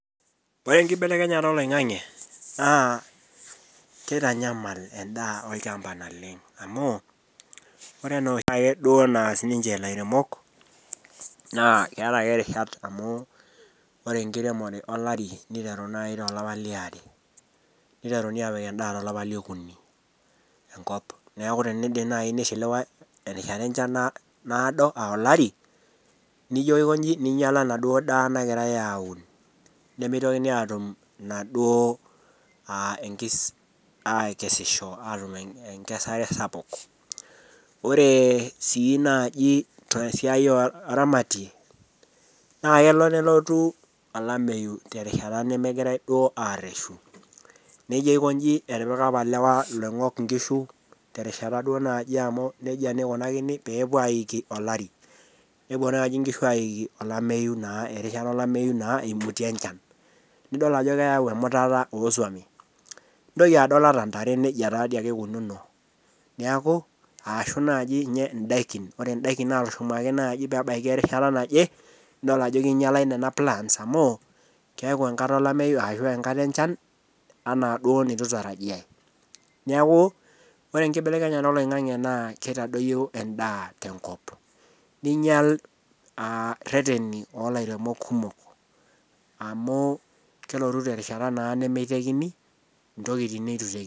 Ore enkibelekenyata eloing'ang'e naa keitanyamal endaa olchamba amuu ore enoshaake duo naas ninche ilairemok naa keeta ake rishat amuu ore enkiremore olari neitaru nai tolapa leare. Neiteruni aapik enda telapa le okuni enkop. Neaku tenejo nai neishiliwan erishata enshan naodo aa olari, nijo aikonji nijo lo enaduo endaa nagirai aun, nemeitokini aaatum enaduo enkis, aikesisho aatum enkesare sapuk. Ore sii naaji to siai ooramati naa kelo nelotu olameiyu te rishata nemegirai duo aareshu. Nijo aikonji etipika apa ilewa laing'ok inkishu te rishata duo naaji amu neja duo eikunakini peepuo aiki olari, nepo naaji inkishu aiki olameiyu naa erishata olameiyu naa eimutie enchan, Nidol ajo keyau emutata oosuami. Nintoki adol ata intare neja taa dei ake eikununo, neaku aashu naaji ninye indaikin, ore indaikin naatushumaki naji peeebaki erishata naje nidol ajo keinyalai nena plans amu keaku enkata elameiyu ashu enkata enshan anaa duo neitu eitarajia. Neaku ore enkibelekenyata eloing'ang'e naa keitadoiyo endaa tenkop, neinyal rreteni o olairemok kumok amuu kelotu te rishata naa nemeitekini ntokitin neiturem.